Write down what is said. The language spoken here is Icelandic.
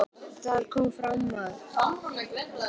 Þar kom fram að